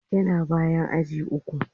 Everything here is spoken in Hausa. Yana bayan aji uku.